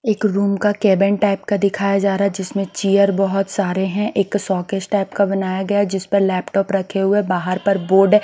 एक रूम का cabin type का दिखाया जा रहा हैजिसमें चेयर बहुत सारे हैं एक सॉकेज टाइप का बनाया गया हैजिस पर लैपटॉप रखे हुए बाहर पर बोर्ड है।